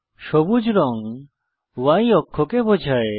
সবুজ রঙ Y অক্ষকে বোঝায়